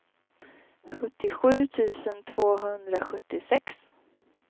sjuttiosju tusen tvåhundrasjuttiosex